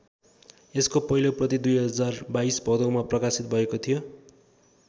यसको पहिलो प्रति २०२२ भदौमा प्रकाशित भएको थियो।